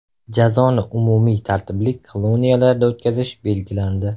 Jazoni umumiy tartibli koloniyalarda o‘tkazish belgilandi.